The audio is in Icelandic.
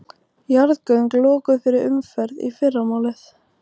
Jarðgöng lokuð fyrir umferð í fyrramálið